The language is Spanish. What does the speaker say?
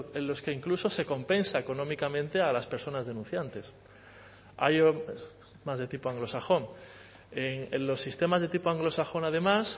en los que incluso se compensa económicamente a las personas denunciantes más de tipo anglosajón en los sistemas de tipo anglosajón además